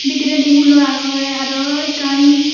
bidiredi hulo agey aro ekkan.